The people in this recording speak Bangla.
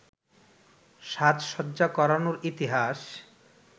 সাজসজ্জা করানোর ইতিহাস